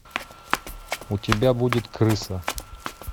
у тебя будет крыса